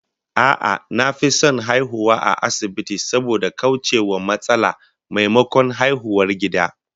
A'a, na fi son a haihu a asibiti saboda kauce wa matsala, maimakon haihuwar gida